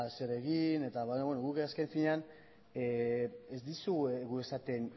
ezer egin baina beno guk azken finean ez dizuegu esaten